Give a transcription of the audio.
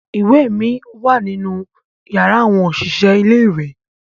Iwe mi wa ninu yara awọn oṣiṣẹ ile-iwe